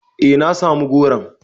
Eh na samu goron.